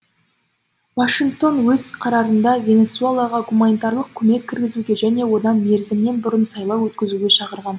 вашингтон өз қарарында венесуэлаға гуманитарлық көмек кіргізуге және онда мерзімінен бұрын сайлау өткізуге шақырған